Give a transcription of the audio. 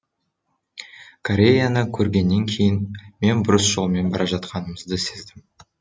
кореяны көргеннен кейін мен бұрыс жолмен бара жатқанымызды сездім